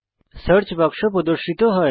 search বাক্স প্রদর্শিত হয়